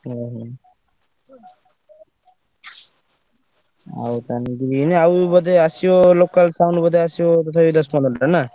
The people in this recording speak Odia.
ଓହୋ ଆଉ ତାହେଲେ green ଆଉ ବୋଧେ ଆସିବ local sound ବୋଧେ ଆସିବ ତଥାପି ଦଶ ପନ୍ଦରଟା ନା?